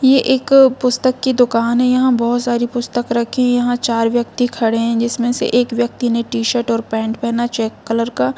ये एक पुस्तक की दुकान है यहाँ बहुत सारी पुस्तक रखी है यहाँ चार व्यक्ति खड़े है जिसमे एक व्यक्ति ने टीशर्ट और पैंट पहना है चेक कलर का--